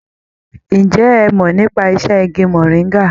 Ǹjẹ́ ẹ mọ̀ nípa iṣẹ́ igi mọ̀ríngà?